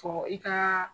Fɔ i ka